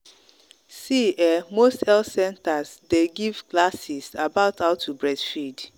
see ehnmost health centers day give classes about how to breastfeed